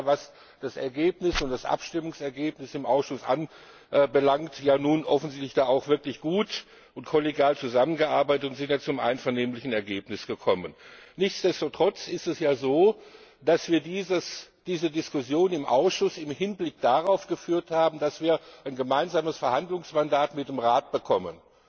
Und wir haben ja, was das Abstimmungsergebnis im Ausschuss anbelangt, nun offensichtlich auch wirklich gut und kollegial zusammengearbeitet und sind zu einem einvernehmlichen Ergebnis gekommen. Ungeachtet dessen ist es ja so, dass wir diese Diskussion im Ausschuss im Hinblick darauf geführt haben, dass wir ein gemeinsames Verhandlungsmandat mit dem Rat bekommen.